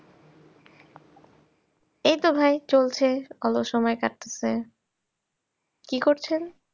এইতো ভাই চলছে, অলস সময় কাটতাছে কি করছেন?